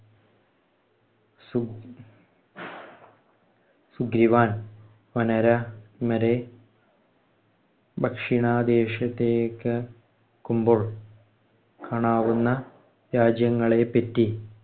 സുഗ്രീവൻ വാനരൻമരെ ദക്ഷിണദേശത്തേക്കു ക്കുമ്പോള്‍ കാണാവുന്ന രാജ്യങ്ങളെപ്പറ്റി